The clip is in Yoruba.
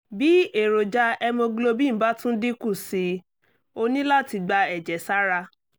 bí èròjà hemoglobin bá tún dínkù sí i o ní láti gba ẹ̀jẹ̀ sára